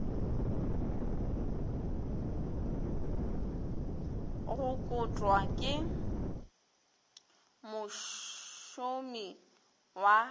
go kotwa ke mošomi wa